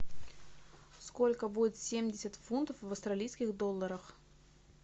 сколько будет семьдесят фунтов в австралийских долларах